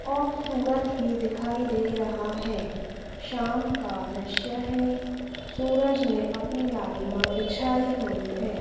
और सूरज भी दिखाई दे रहा है शाम का दृश्य है सूरज ने अपनी लालिमा बिछाई हुई है।